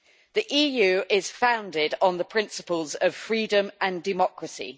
The EU is founded on the principles of freedom and democracy.